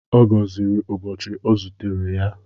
Ọ gọziri ụbọchị ọ zutere ya.